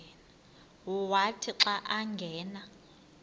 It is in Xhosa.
wathi xa angena